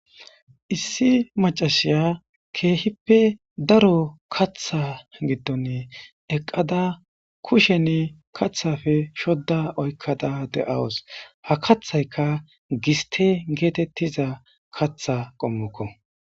Issi maccashay kehippe daro kaththa gidonni eqqadda kusheni kaththappe shoda oykkada de'awus. Ha kaththaykka gisththe gethethizza kaththa qomokko.